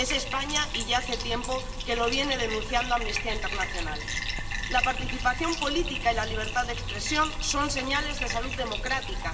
Es España, y ya hace tiempo que lo viene denunciando Amnistía Internacional. La participación política y la libertad de expresión son señales de salud democrática.